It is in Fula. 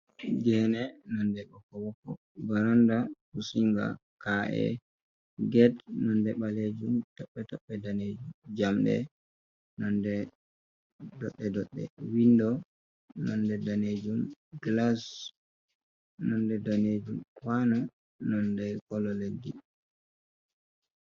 Gene nonɗe ɓokko-ɓokko. Varanda pusinga. kaa'e, gate nonɗe ɓalejum toɓɓe-toɓɓe danejum. Jamɗe nonɗe doɗɗe-doɗɗe. Window nonɗe danejum, glass nonɗe danejum. Kwano nonɗe color leddi.